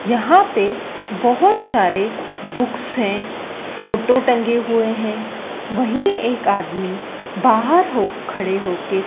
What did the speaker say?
यहां पे बहोत सारे बुक्स है फोटो टंगे हुए है वही एक आदमी बाहर हो खड़े होके--